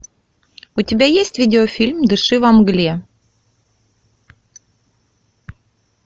у тебя есть видеофильм дыши во мгле